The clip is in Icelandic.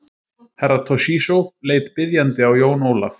Herra Toshizo leit biðjandi á Jón Ólaf.